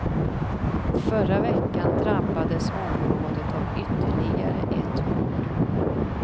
Förra veckan drabbades området av ytterligare ett mord.